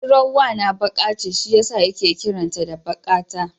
Budurwar wana baƙa ce shi yasa yake kiran ta da Baƙata.